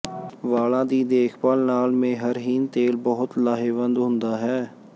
ਵਾਲਾਂ ਦੀ ਦੇਖਭਾਲ ਨਾਲ ਮੇਰਨਰੀਨ ਤੇਲ ਬਹੁਤ ਲਾਹੇਵੰਦ ਹੁੰਦਾ ਹੈ